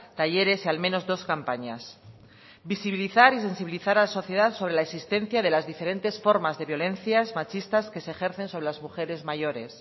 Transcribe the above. talleres y al menos dos campañas visibilizar y sensibilizar a la sociedad sobre la existencia de las diferentes formas de violencias machistas que se ejercen sobre las mujeres mayores